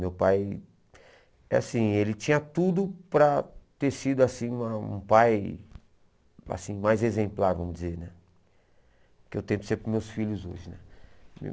Meu pai é assim ele tinha tudo para ter sido assim uma um pai assim mais exemplar, vamos dizer né, que eu tento ser para os meus filhos hoje.